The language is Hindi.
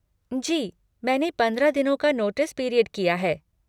जी, मैंने पंद्रह दिनों का नोटिस पीरियड किया है।